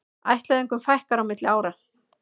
Ættleiðingum fækkar milli ára